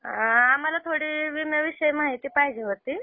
आम्हाला थोडी विम्या विषयी माहिती पाहिजे होती.